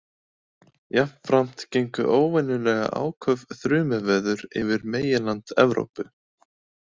Jafnframt gengu óvenjulega áköf þrumuveður yfir meginland Evrópu.